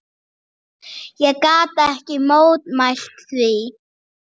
Ég gat ekki mótmælt því.